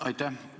Aitäh!